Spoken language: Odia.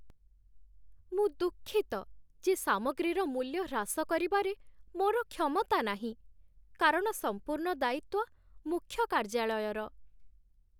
ମୁଁ ଦୁଃଖିତ ଯେ ସାମଗ୍ରୀର ମୂଲ୍ୟ ହ୍ରାସ କରିବାରେ ମୋର କ୍ଷମତା ନାହିଁ, କାରଣ ସମ୍ପୂର୍ଣ୍ଣ ଦାୟିତ୍ଵ ମୁଖ୍ୟକାର୍ଯ୍ୟାଳୟର।